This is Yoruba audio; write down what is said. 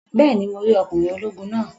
Bẹ́ẹ̀ni, mo rí ọkùnrin ológun náà.